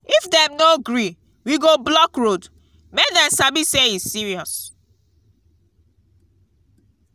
if dem no gree we go block road make dem sabi say e serious.